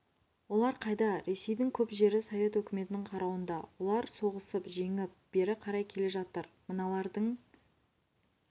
олар қайда ресейдің көп жері совет өкіметінің қарауында олар соғысып жеңіп бері қарай келе жатыр мыналардың